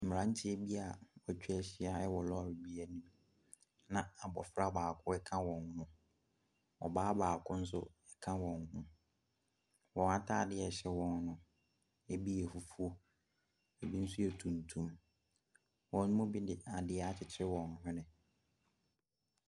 Mmeranteɛ bi a wɔatwa ahyia wɔ lɔre bi anim, na abɔfra baako a ɔka wɔn ho no, ɔbaa baako nso ka wɔn ho. Wɔn atadeɛ a ɛhyɛ wɔn no, ebi yɛ fufuo, ebi nso yɛ tuntum. Wɔn mu bi de adeɛ akyekyere wɔn hwene.